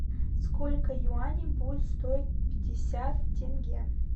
сколько юаней будет стоить пятьдесят тенге